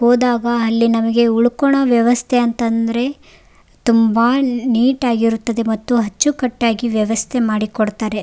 ಹೋದಾಗ ಅಲ್ಲಿ ನಮಗೆ ಉಳ್ಕೊಣೊ ವ್ಯವಸ್ಥೆ ಅಂತಂದ್ರೆ ತುಂಬಾ ನೀಟಾಗಿರುತ್ತದೆ ಮತ್ತು ಅಚ್ಚುಕಟ್ಟಾಗಿ ವ್ಯವಸ್ಥೆ ಮಾಡಿಕೊಡ್ತಾರೆ.